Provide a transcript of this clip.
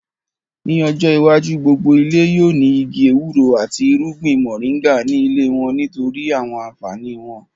Ní ọjọ́ iwájú, gbogbo ilé yóò ní igi ewúro àti irúgbìn mọ̀ríńgà ní ilé wọ́n nítorí àwọn ànfàní wọn